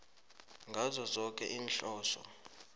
ngazo zoke iinhloso